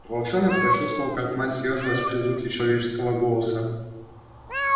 волчонок почувствовал как мать съёжилась при звуке человеческого голоса